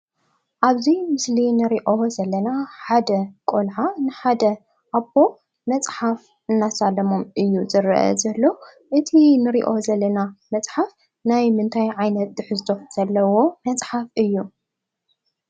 ኣብዚ ምስሊ ንሪኦ ዘለና ሓደ ቆልዓ ንሓደ ኣቦ መፅሓፍ እናሳለሞም እዩ ዝረአ ዘሎ። እቲ ንሪኦ ዘለና መፅሓፍ ናይምንታይ ዓይነት ትሕዝቶ ዘለዎ መፅሓፍ እዩ?